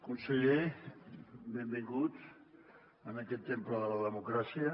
conseller benvingut en aquest temple de la democràcia